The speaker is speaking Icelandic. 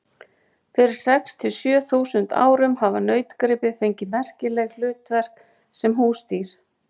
Fyrir sex til sjö þúsund árum hafa nautgripir fengið merkileg hlutverk sem húsdýr.